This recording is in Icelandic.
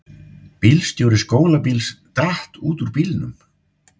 Bílstjóri skólabíls datt út úr bílnum